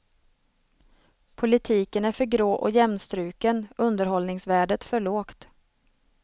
Politiken är för grå och jämnstruken, underhållningsvärdet för lågt.